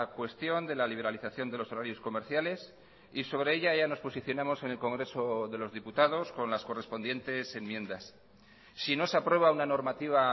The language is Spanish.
cuestión de la liberalización de los horarios comerciales y sobre ella ya nos posicionamos en el congreso de los diputados con las correspondientes enmiendas si no se aprueba una normativa